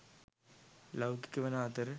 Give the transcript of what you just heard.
ලෞකික වන අතර